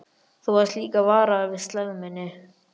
Þú varst líka varaður við slægð minni.